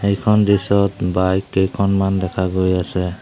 এইখন দৃশ্যত বাইক কেইখনমান দেখা গৈ আছে।